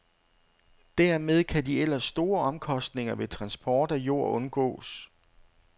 Dermed kan de ellers store omkostninger ved transport af jord undgås.